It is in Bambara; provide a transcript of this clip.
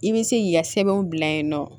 I bɛ se k'i ka sɛbɛnw bila yen nɔ